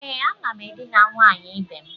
E, a nam edina nwanyi ibe'm.